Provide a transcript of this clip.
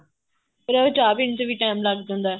ਕਈ ਵਾਰ ਚਾਹ ਪੀਣ ਚ time ਲੱਗ ਜਾਂਦਾ